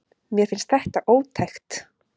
Mér finnst þetta ótækt.